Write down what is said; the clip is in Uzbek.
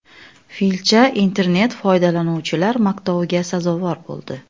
Filcha internet-foydalanuvchilar maqtoviga sazovor bo‘ldi.